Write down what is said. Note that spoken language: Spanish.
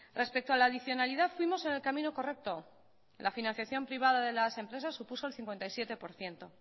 respecto a la adicionalidad fuimos en el camino correcto la financiación privada de las empresas supuso el cincuenta y siete por ciento